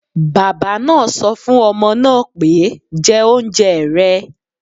Bàbá náà sọ fún ọmọ náà pé, 'jẹ oúnjẹ rẹ̀